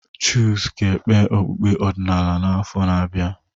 Chuks ga-ekpe okpukpe ọdịnala n'afọ na-abịa.